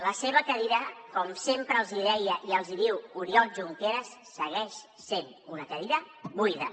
la seva cadira com sempre els deia i els diu oriol junqueras segueix sent una cadira buida